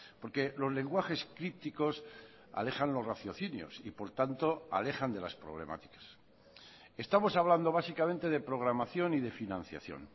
porque los lenguajes críticos alejan los raciocinios y por tanto alejan de las problemáticas estamos hablando básicamente de programación y de financiación